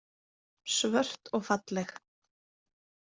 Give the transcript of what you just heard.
Svört og falleg.